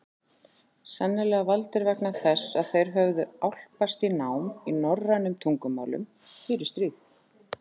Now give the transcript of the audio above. Sennilega valdir vegna þess að þeir höfðu álpast í nám í norrænum tungumálum fyrir stríð.